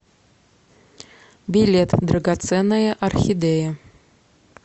билет драгоценная орхидея